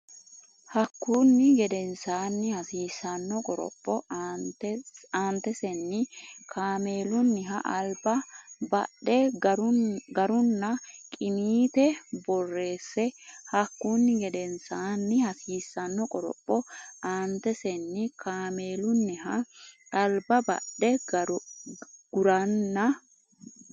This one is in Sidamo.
Hakkunni gedensaanni hasiissanno qoropho aantesenni kaameelunniha alba badhe guranna qiniite borreesse Hakkunni gedensaanni hasiissanno qoropho aantesenni kaameelunniha alba badhe guranna.